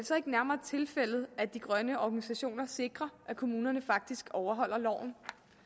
så ikke nærmere tilfældet at de grønne organisationer sikrer at kommunerne faktisk overholder loven